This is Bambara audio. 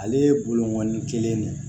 Ale ye bolonɔni kelen de ye